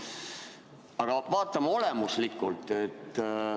Aga vaatame olemuslikult.